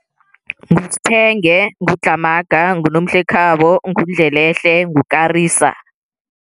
NguSphenge, nguDlhamaga, nguNomhlekhabo, nguNdlelehle, nguKarisa.